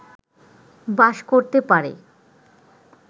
বাস করতে পারে